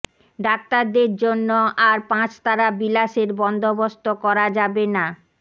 ডাক্তারদের জন্য় আর পাঁচতারা বিলাসের বন্দোবস্ত করা যাবে না